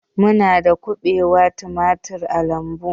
Muna da kubewa, tumaturi a lambu